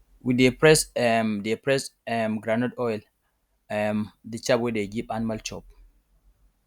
we dey press um dey press um groundnut for oil um the chaff we dey give um animal chop